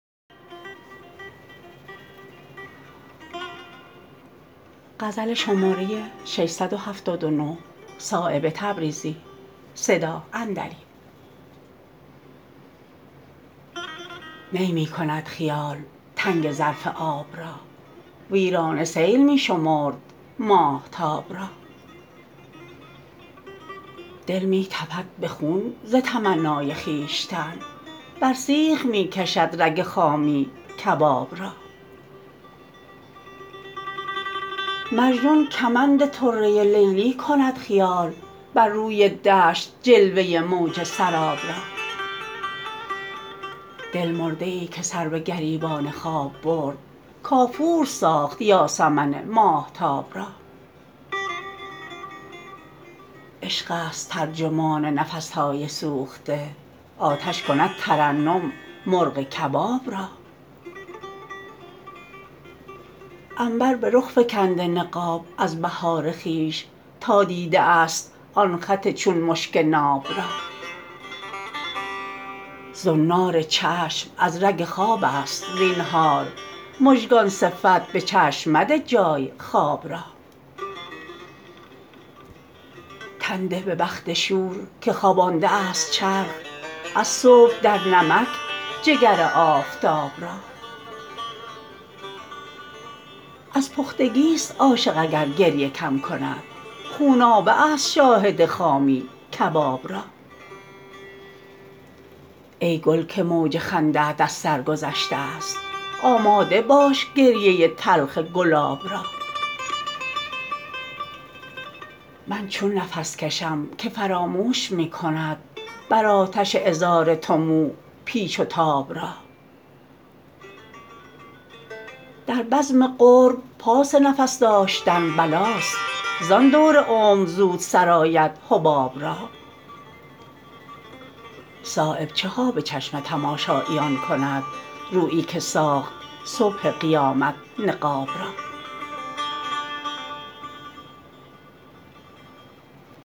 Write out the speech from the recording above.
می می کند خیال تنک ظرف آب را ویرانه سیل می شمرد ماهتاب را دل می تپد به خون ز تمنای خویشتن بر سیخ می کشد رگ خامی کباب را مجنون کمند طره لیلی کند خیال بر روی دشت جلوه موج سراب را دلمرده ای که سر به گریبان خواب برد کافور ساخت یاسمن ماهتاب را عشق است ترجمان نفس های سوخته آتش کند ترنم مرغ کباب را عنبر به رخ فکنده نقاب از بهار خویش تا دیده است آن خط چون مشک ناب را زنار چشم از رگ خواب است زینهار مژگان صفت به چشم مده جای خواب را تن ده به بخت شور که خوابانده است چرخ از صبح در نمک جگر آفتاب را از پختگی است عاشق اگر گریه کم کند خونابه است شاهد خامی کباب را ای گل که موج خنده ات از سر گذشته است آماده باش گریه تلخ گلاب را من چون نفس کشم که فراموش می کند بر آتش عذار تو مو پیچ و تاب را در بزم قرب پاس نفس داشتن بلاست زان دور عمر زود سرآید حباب را صایب چها به چشم تماشاییان کند رویی که ساخت صبح قیامت نقاب را